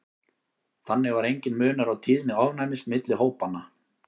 þannig var enginn munur á tíðni ofnæmis milli hópanna